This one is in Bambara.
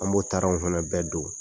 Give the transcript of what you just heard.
An b'o taaranw fɛnɛ bɛɛ don.